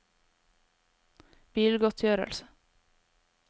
bilgodtgjørelse